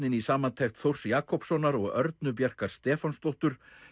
í samantekt Þórs Jakobssonar og Örnu Bjarkar Stefánsdóttur